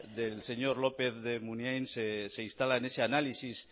del señor lópez de munain se instala en ese análisis